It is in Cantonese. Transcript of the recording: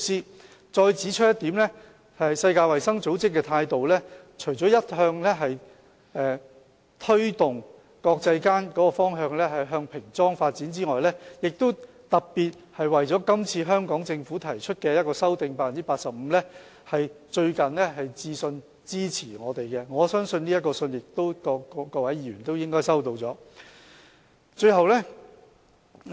我再指出一點，世衞的態度除了一向推動國際間煙草產品的包裝向平裝發展外，亦特別為了今次香港政府提出 85% 的修訂，最近來信支持我們，我相信各位議員應已收到這封信件。